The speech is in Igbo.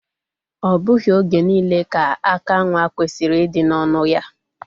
O bughi oge niile ka aka nwa kwesiri idi n'onụ ya.